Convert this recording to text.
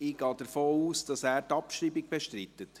Ich gehe davon aus, dass er die Abschreibung bestreitet.